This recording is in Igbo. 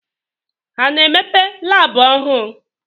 Ha a na-emepe labụ ọhụụ